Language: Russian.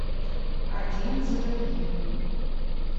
один за другим